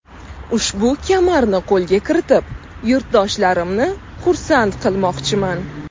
Ushbu kamarni qo‘lga kiritib, yurtdoshlarimni xursand qilmoqchiman.